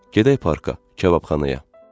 Gedək parka, kababxanaya.